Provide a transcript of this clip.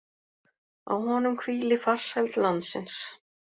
Á honum hvíli farsæld landsins.